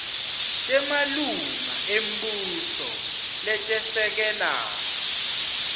temalunga embuso letesekela